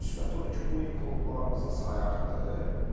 müsbət odur ki, bu il klublarımızın sayı artdı.